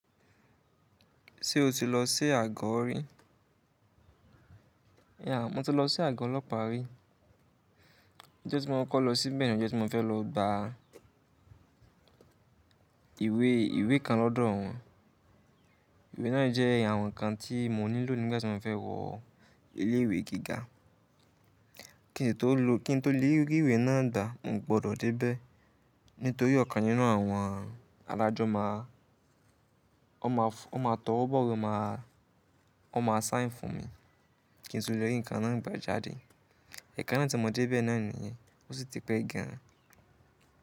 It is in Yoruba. Ṣé o ti lọ sí àgọ́ rí? Yeah, mo ti lọ sí àgọ́ ọlọ́pàá rí. Ọjọ́ tí mo kọ́kọ lo síbẹ̀ ni ọjọ́ tí mo fẹ́ lọ gba ìwé ìwé kan lọ́dọ̀ wọn. Ìwé náà jẹ́ àwọn ǹkan tí mo nílò nígbà tí mo fẹ́ wọ ilé ìwé gíga. Kí n tó lè rí ìwé náà gbà, mo gbọdọ̀ dé bẹ́ẹ̀. Nítorí ọ̀kan nínú àwọn adájọ́ máa, ó máa tọwọ́ bọwe máa, ó máa sign fún mi. Kí n tó lè rí ǹkan náà gbà jáde. Ẹ̀kan náà tí mo dé bẹ́ẹ̀ náà nìyẹn, ó sì ti pé gan an.